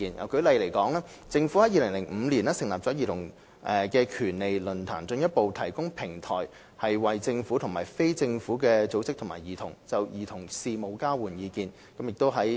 舉例而言，政府在2005年成立了兒童權利論壇，進一步提供平台，為政府與非政府組織及兒童就兒童事務交換意見。